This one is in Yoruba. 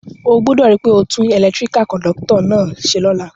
O gbúdò ri pe o tun electrical conductor náà se lóla